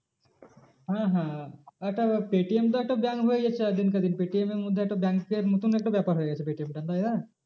হ্যাঁ হ্যাঁ একটা পেটিএম তো একটা bank হয়ে যাচ্ছে দিনকে দিন পেটিএম এর মধ্যে একটা bank এর মতন একটা ব্যাপার হয়ে গেছে। পেটিএমটা তাই না।